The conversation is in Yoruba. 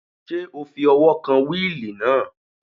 Ṣé o fi ọwọ́ kan wíìlì náà?